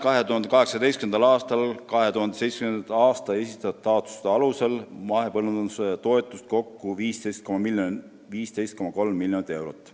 2018. aastal määras PRIA 2017. aastal esitatud taotluste alusel mahepõllumajanduse toetusi kokku 15,3 miljonit eurot.